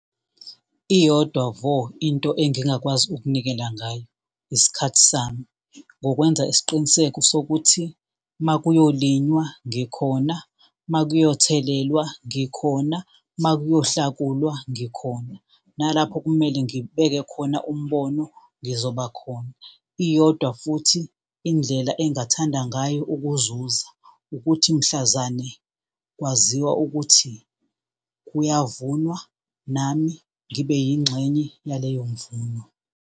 Iyodwa vo into engingakwazi ukunikela ngayo, isikhathi sami. Ngokwenza isiqiniseko sokuthi makuyolinywa ngikhona, makuyothengwa ngikhona, makuyohlakulwa ngikhona, nalapho okumele ngibeke khona umbono ngizoba khona. Iyodwa futhi indlela engingathanda ngayo ukuzuza, ukuthi mhlazane kwaziwa ukuthi kuyavunwa nami ngibe yingxenye yaleyo mvuno.